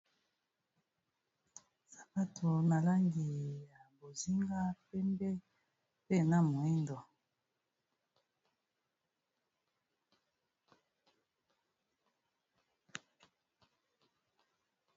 Sabato na langi ya bozinga, pembe, mpe na moyindo.